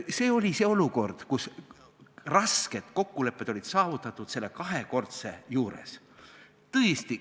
See oli see olukord, kus rasked kokkulepped olid saavutatud selle kahekordse määra kohta.